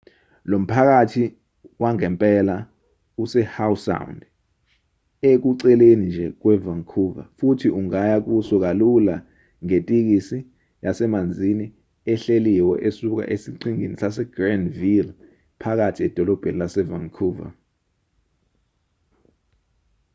lo mphakathi wangempela use-howe sound ekuceleni nje kwe-vancouver futhi ungaya kuso kalula ngetikisi yasemanzini ehleliwe esuka esiqhingini sasegrandville phakathi edolobheni lase-vancouver